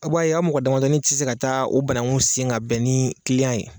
Aw b'a ye a' mɔgɔ damadɔni ti se ka taa o banaŋu sen ŋa bɛn ni ye.